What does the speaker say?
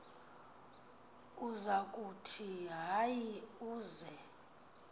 usakuthi hayi uz